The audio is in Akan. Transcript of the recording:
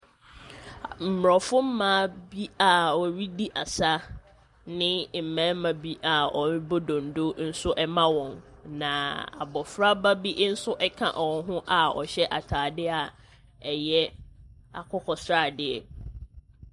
Aborɔfo mmaa bi a wɔredi asa, ne mmarima bi a wɔrebɔ donno nso ma wɔn, na abɔfraba bi nso ka wɔn ho a ɔhyɛ atadeɛ a ɛyɛ akokɔsradeɛ.